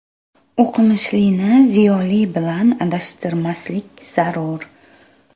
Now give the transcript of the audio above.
O‘qimishlini ziyoli bilan adashtirmaslik zarur.